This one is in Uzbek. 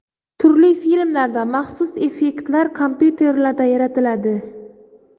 Turli filmlarda maxsus effektlar kompyuterlarda yaratiladi.